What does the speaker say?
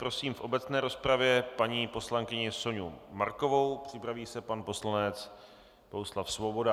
Prosím v obecné rozpravě paní poslankyni Soňu Markovou, připraví se pan poslanec Bohuslav Svoboda.